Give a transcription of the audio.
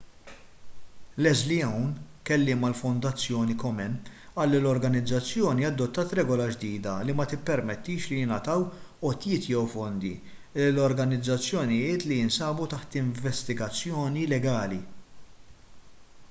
leslie aun kelliem għall-fondazzjoni komen qal li l-organizzazzjoni adottat regola ġdida li ma tippermettix li jingħataw għotjiet jew fondi lil organizzazzjonijiet li jinsabu taħt investigazzjoni legali